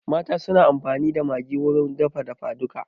Mata suna amfani da Maggi wurin girka dafa duka